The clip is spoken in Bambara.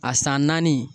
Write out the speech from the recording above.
A san naani